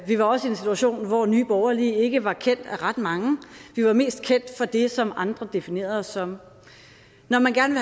var også i en situation hvor nye borgerlige ikke var kendt af ret mange vi er mest kendt for det som andre definerede os som når man gerne